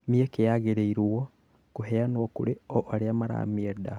Mĩeke yagĩrĩirwo kũheanwo kũrĩ o arĩa maramĩenda